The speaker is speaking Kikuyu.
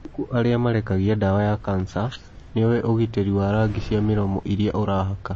Ngũkũ aria marekagia dawa ya cancer Niowe ũgiteri wa rangi cia miromo iria urahaka?